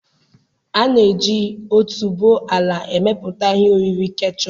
A na-eji otuboala emepụta ihe oriri kechọp.